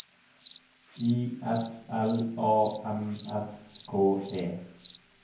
I S L A M S K E